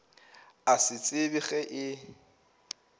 a sa tsebe ge e